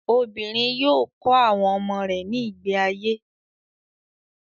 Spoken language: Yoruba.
Obìnrin yóò kọ́ àwọn ọmọ rẹ̀ ní ìgbé ayé.